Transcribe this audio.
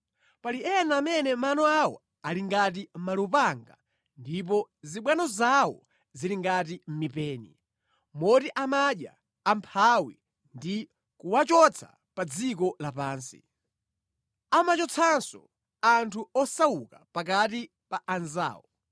Pali ena amene mano awo ali ngati malupanga ndipo zibwano zawo zili ngati mipeni moti amadya amphawi ndi kuwachotsa pa dziko lapansi. Amachotsanso anthu osauka pakati pa anzawo.”